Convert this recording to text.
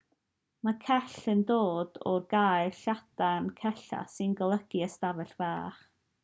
mae cell yn dod o'r gair lladin cella sy'n golygu ystafell fach